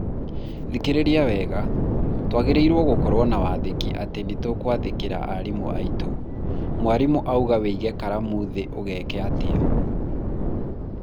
thikĩrĩria wega, twagĩrĩirwo gũkorwo na wathĩki atĩ nĩturathikĩrĩria arimũ aitũ. mwarimũ auga wĩige karamu thĩ ũgeka atĩa?